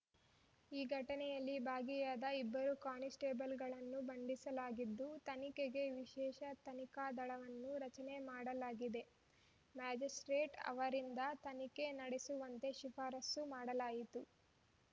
ಈ ಘಟನೆಯಲ್ಲಿ ಭಾಗಿಯಾದ ಇಬ್ಬರು ಕಾನಿಸ್ಟೇಬಲ್‌ಗಳನ್ನು ಬಂಧಿಸಲಾಗಿದ್ದು ತನಿಖೆಗೆ ವಿಶೇಷ ತನಿಖಾ ದಳವನ್ನು ರಚನೆ ಮಾಡಲಾಗಿದೆ ಮ್ಯಾಜಿಸ್ಪ್ರೇಟ್‌ ಅವರಿಂದ ತನಿಖೆ ನಡೆಸುವಂತೆ ಶಿಫಾರಸು ಮಾಡಲಾಯಿತ್ತು